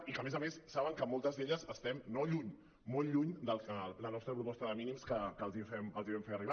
i que a més a més saben que moltes d’elles estem no lluny molt lluny de la nostra proposta de mínims que els vam fer arribar